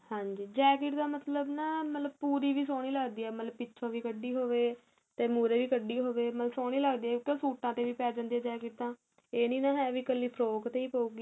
ਹਾਂਜੀ jacket ਦਾ ਮਤਲਬ ਨਾ ਮਤਲਬ ਪੂਰੀ ਵੀ ਸੋਹਣੀ ਲੱਗਦੀ ਏ ਮਤਲਬ ਪਿਛੋ ਵੀ ਕੱਢੀ ਹੋਵੇ ਤੇ ਮੁਹਰੇ ਵੀ ਕੱਢੀ ਹੋਵੇ ਮਤਲਬ ਸੋਹਣੀ ਲੱਗਦੀ ਏ ਕਿਉ ਸੂਟਾ ਤੇ ਪੇ ਜਾਂਦੀ ਏ jacket ਤਾਂ ਏਹ ਨਹੀਂ ਹੈ ਵੀ ਇੱਕਲੀ ਫਰੋਕ ਤੇ ਹੀ ਪਉਗੀ